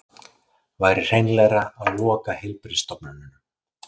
Væri hreinlegra að loka heilbrigðisstofnunum